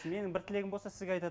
менің бір тілегім болса сізге